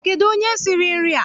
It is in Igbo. Kedụ onye siri nri a?